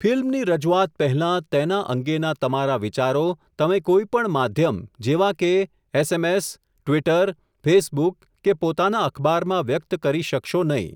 ફિલ્મની રજુઆત પહેલાં, તેના અંગેના તમારા વિચારો, તમે કોઈ પણ માધ્યમ જેવા કે, એસએમએસ, ટ્વિટર, ફેસબુક કે પોતાના અખબારમાં વ્યક્ત કરી શકશો નહીં.